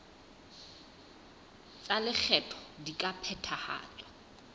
tsa lekgetho di ka phethahatswa